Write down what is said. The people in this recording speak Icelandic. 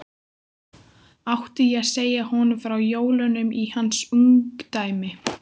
Átti ég segja honum frá jólunum í hans ungdæmi?